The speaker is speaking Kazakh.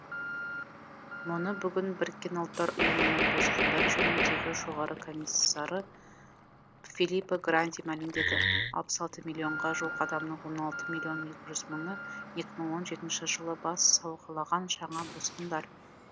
мұны бүгін біріккен ұлттар ұйымының босқындар жөніндегі жоғары коммисары филиппо гранди мәлімдеді алпыс алты миллионға жуық адамның он алты миллион екі жүз мыңы екі мың он жетінші жылы бас сауғалаған жаңа босқындар